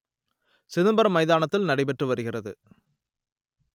சிதம்பரம் மைதானத்தில் நடைபெற்று வருகிறது